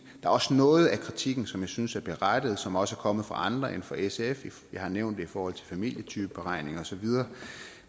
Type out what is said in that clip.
er også noget af kritikken som jeg synes er berettiget og som også er kommet fra andre end fra sf jeg har nævnt det i forhold til familietypeberegninger og så videre